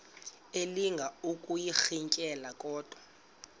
elinga ukuyirintyela kodwa